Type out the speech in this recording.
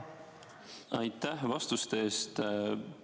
Aitäh vastuse eest!